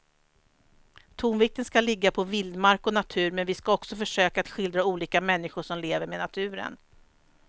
Tonvikten ska ligga på vildmark och natur men vi ska också försöka att skildra olika människor som lever med naturen.